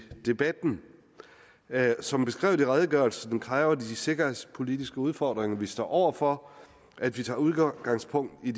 debatten som beskrevet i redegørelsen kræver de sikkerhedspolitiske udfordringer vi står over for at vi tager udgangspunkt i